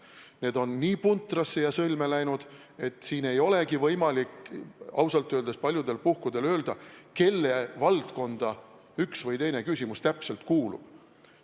Need on nii puntrasse ja sõlme läinud, et ei olegi võimalik ausalt öeldes paljudel puhkudel öelda, kelle valdkonda üks või teine küsimus täpselt kuulub.